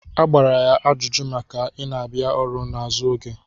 A gbara ya ajụjụ maka ị na-abịa ọrụ n'azụ oge.